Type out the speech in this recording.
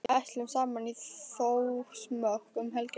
Við ætlum saman í Þórsmörk um helgina.